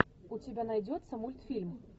у тебя найдется мультфильм